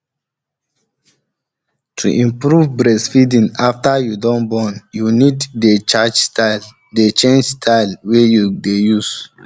to improve breastfeeding afta you don born you need dey change style wey you dey use